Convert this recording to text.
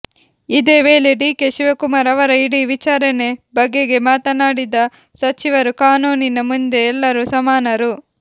ಇದೇ ವೇಳೆ ಡಿಕೆ ಶಿವಕುಮಾರ್ ಅವರ ಇಡಿ ವಿಚಾರಣೆ ಬಗೆಗೆ ಮಾತನಾಡಿದ ಸಚಿವರು ಕಾನೂನಿನ ಮುಂದೆ ಎಲ್ಲರೂ ಸಮಾನರು